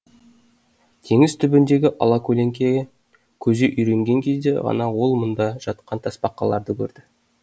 теңіз түбіндегі алакөлеңкеге көзі үйренген кезде ғана ол мұнда жатқан тасбақаларды көрді